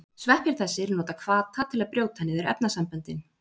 Sveppir þessir nota hvata til að brjóta niður efnasamböndin.